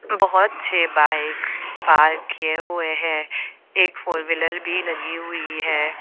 बहोत से bike park किए हुए हैं एक फोर व्हीलर भी लगी हुई है।